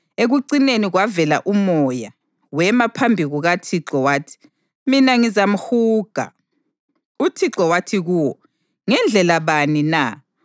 Ekucineni kwavela umoya, wema phambi kukaThixo wathi: ‘Mina ngizamhuga.’ UThixo wathi kuwo: ‘Ngendlela bani na?’